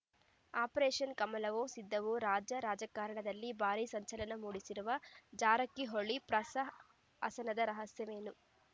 operation ಕಮಲವೋ ಸಿದ್ದುವೋ ರಾಜ್ಯ ರಾಜಕಾರಣದಲ್ಲಿ ಭಾರೀ ಸಂಚಲನ ಮೂಡಿಸಿರುವ ಜಾರಕಿಹೊಳಿ ಪ್ರಸ ಹಸನದ ರಹಸ್ಯವೇನು